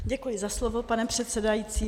Děkuji za slovo, pane předsedající.